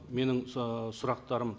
менің і сұрақтарым